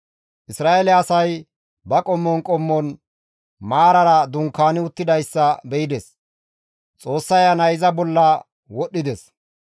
Isra7eele asay ba qommon qommon maarara dunkaani uttidayssa be7ides; Xoossa Ayanay iza bolla wodhdhides;